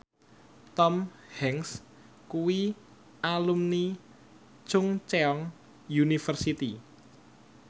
Tom Hanks kuwi alumni Chungceong University